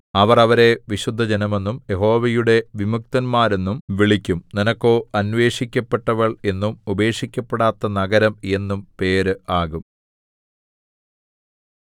അവർ അവരെ വിശുദ്ധജനമെന്നും യഹോവയുടെ വിമുക്തന്മാ ആരെന്നും വിളിക്കും നിനക്കോ അന്വേഷിക്കപ്പെട്ടവൾ എന്നും ഉപേക്ഷിക്കപ്പെടാത്ത നഗരം എന്നും പേര് ആകും